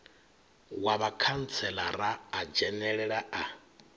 wa vhakhantselara a dzhenelela a